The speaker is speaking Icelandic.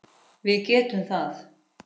Við getum það.